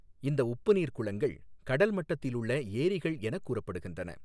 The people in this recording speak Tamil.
இந்த உப்புநீா் குளங்கள் கடல் மட்டத்திலுள்ள ஏாிகள் எனக் கூறப்படுகின்றன.